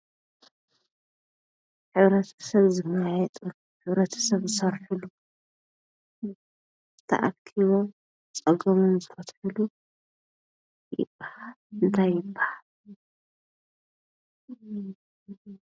ሕብረተሰብ ዝመያየጥሉ ሕብረተሰብ ዝሰርሕሉ ተኣኪቢም ፀገሞም ዝፈትሕሉ እንታይ ይበሃል?